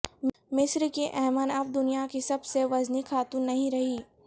مصر کی ایمن اب دنیا کی سب وزنی خاتون نہیں رہیں